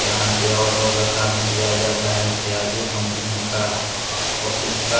यहाँ पे ऑटो का काम किया जाता है प्याजो कंपनी का ऑफिस का --